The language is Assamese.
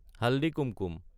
হালদি কুমকুম